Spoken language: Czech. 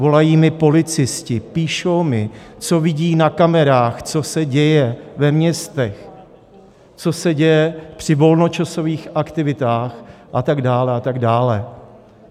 Volají mi policisté, píšou mi, co vidí na kamerách, co se děje ve městech, co se děje při volnočasových aktivitách a tak dále a tak dále.